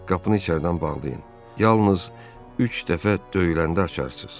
Qapını içəridən bağlayın, yalnız üç dəfə döyüləndə açarsız.